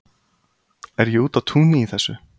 er ég úti á túni í þessu